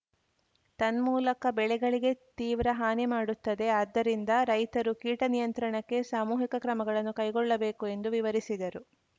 ತನ್ಮೂಲಕ ಬೆಳೆಗಳಿಗೆ ತೀವ್ರ ಹಾನಿ ಮಾಡುತ್ತದೆ ಆದ್ದರಿಂದ ರೈತರು ಕೀಟ ನಿಯಂತ್ರಣಕ್ಕೆ ಸಾಮೂಹಿಕ ಕ್ರಮಗಳನ್ನು ಕೈಗೊಳ್ಳಬೇಕು ಎಂದು ವಿವರಿಸಿದರು